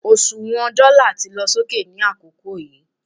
òṣùwàn dóla ti lọ sókè ni àkókò yíì